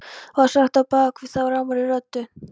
var sagt á bak við þá rámri röddu.